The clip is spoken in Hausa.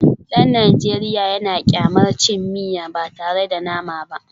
Dan Najeriya yana kyamar cin miya ba tare da nama ba